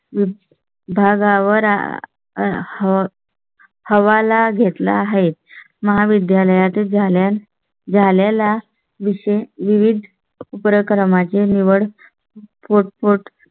भागावर आह. हवाला घेतला आहे. महाविद्यालयात झाल्या झालेला विषयी विविध उपक्रमा ची निवड पुट पुट